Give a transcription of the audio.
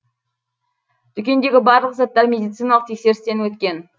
дүкендегі барлық заттар медициналық тексерістен өткен